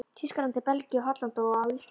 Þýskalandi, Belgíu, Hollandi og á Íslandi.